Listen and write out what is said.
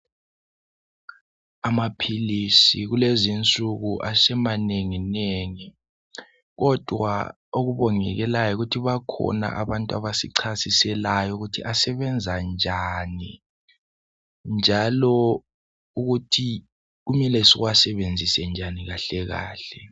Amaphilisi kulezinsuku asemanenginengi, kodwa okubongekelayo yikuthi bakhona abantu abasichasiselayo ukuthi asebenza njani, njalo ukuthi kumele siwasebenzise njani kahle kahle.